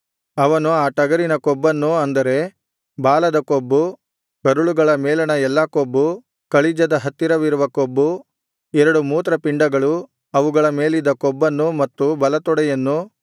ಅವನು ಆ ಟಗರಿನ ಕೊಬ್ಬನ್ನು ಅಂದರೆ ಬಾಲದ ಕೊಬ್ಬು ಕರುಳುಗಳ ಮೇಲಣ ಎಲ್ಲಾ ಕೊಬ್ಬು ಕಳಿಜದ ಹತ್ತಿರವಿರುವ ಕೊಬ್ಬು ಎರಡು ಮೂತ್ರಪಿಂಡಗಳು ಅವುಗಳ ಮೇಲಿದ್ದ ಕೊಬ್ಬನ್ನು ಮತ್ತು ಬಲತೊಡೆಯನ್ನು